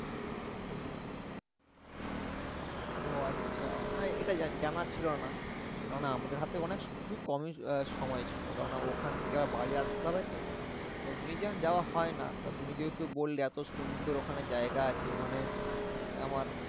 ও আচ্ছা, না এটা জা জানা ছিল না। কেন না আমাদের হাতে অনেক খুবই কমই আহ সময় ছিল। কেন না ওখান থেকে আবার বাড়ি আসতে হবে তো? তো museum যাওয়া হয় না। তা তুমি যেহেতু বললে এত সুন্দর ওখানে জায়গা আছে ওখানে আমার